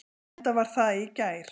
Enda var það í gær.